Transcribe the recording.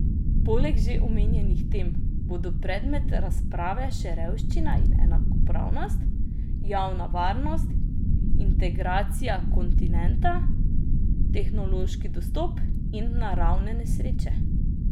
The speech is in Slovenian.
Poleg že omenjenih tem bodo predmet razprave še revščina in enakopravnost, javna varnost, integracija kontinenta, tehnološki dostop in naravne nesreče.